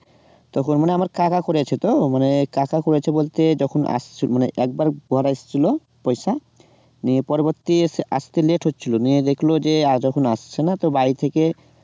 তখন মানে আমার কাকা করেছে তো মানে কাকা করেছে বলতে যখন আসছে একবার ঘরে এসেছিলো পয়সা নিয়ে পরবর্তীতে আসতে late হচ্ছিলো নিয়ে দেখলো যে যখন আসছে না তখন বাড়ি থেকে